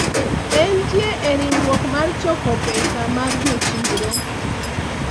en tie e riwruok mar choko pesa mar jochiro